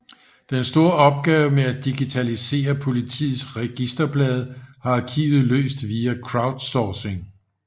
Den store opgave med at digitalisere Politiets registerblade har arkivet løst via crowdsourcing